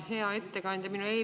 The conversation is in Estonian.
Hea ettekandja!